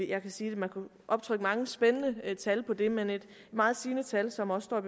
kan sige at man kunne optrykke mange spændende tal på det men et meget sigende tal som også står i